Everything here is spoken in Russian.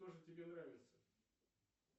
кто же тебе нравится